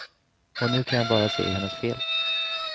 Och nu kan jag bara se hennes fel.